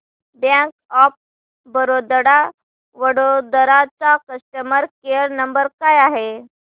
bank of Baroda Vadodara चा customer care number काय आहे